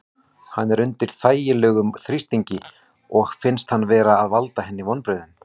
Hann er undir ægilegum þrýstingi og finnst hann vera að valda henni vonbrigðum.